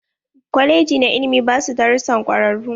Kwaleji na ilimi basu darussan kwararu.